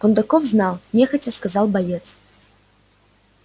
кондаков знал нехотя сказал боец